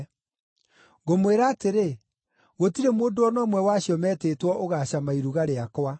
Ngũmwĩra atĩrĩ, gũtirĩ mũndũ o na ũmwe wa acio metĩtwo ũgaacama iruga rĩakwa.’ ”